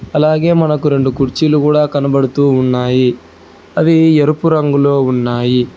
అలాగే మనకు రెండు కుర్చీలు కూడా కనబడుతూ ఉన్నాయి అవి ఎరుపు రంగులో ఉన్నాయి.